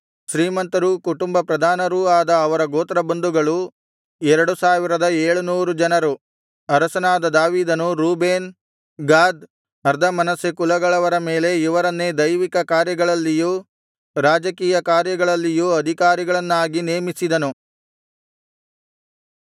ಶ್ರೀಮಂತರೂ ಕುಟುಂಬ ಪ್ರಧಾನರೂ ಆದ ಅವನ ಗೋತ್ರಬಂಧುಗಳು ಎರಡು ಸಾವಿರದ ಏಳುನೂರು ಜನರು ಅರಸನಾದ ದಾವೀದನು ರೂಬೇನ್ ಗಾದ್ ಅರ್ಧಮನಸ್ಸೆ ಕುಲಗಳವರ ಮೇಲೆ ಇವರನ್ನೇ ದೈವಿಕ ಕಾರ್ಯಗಳಲ್ಲಿಯೂ ರಾಜಕೀಯ ಕಾರ್ಯಗಳಲ್ಲಿಯೂ ಅಧಿಕಾರಿಗಳನ್ನಾಗಿ ನೇಮಿಸಿದನು